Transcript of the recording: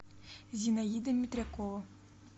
зинаида метрякова